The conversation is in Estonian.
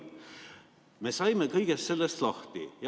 Me saime kõigest sellest lahti.